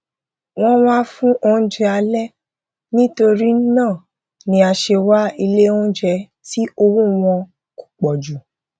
wọn wá fún oúnjẹ alẹ nítorína ni a se wá ilé oúnjẹ tí owó wọn kò pọjù